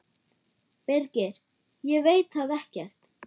Birgir: Ég veit það ekkert.